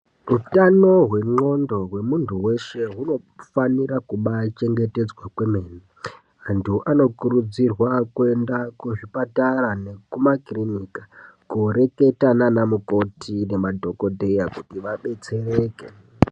Utano hwenxondo hwemuntu weshe, hunofanira kubaa chengetedzwa kwemene. Antu anokurudzirwa kuenda kuzvipatara nekumakiriniki kooreketa nana mukoti nemadhokodheya kuti vabetsereke.